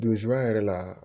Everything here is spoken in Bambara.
yɛrɛ la